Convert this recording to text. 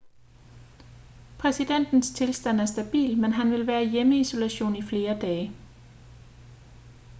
præsidentens tilstand er stabil men han vil være i hjemmeisolation i flere dage